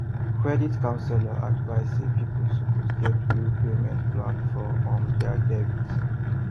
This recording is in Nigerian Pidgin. credit counsellor advise say people suppose get real payment plan for um their debt